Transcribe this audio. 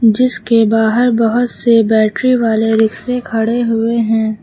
जिसके बाहर बहुत से बैटरी वाले रिक्शे खड़े हुए हैं।